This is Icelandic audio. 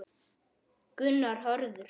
Gunnar Hörður.